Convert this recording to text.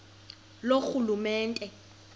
loorhulumente